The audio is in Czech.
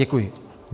Děkuji.